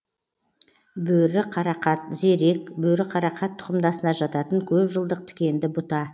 бөріқарақат зерек бөріқарақат тұқымдасына жататын көп жылдық тікенді бұта